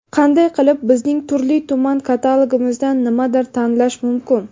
Qanday qilib bizning turli-tuman katalogimizdan nimadir tanlash mumkin?.